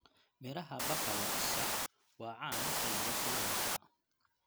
Midhaha baqala isha waa caan xilliga kuleylka.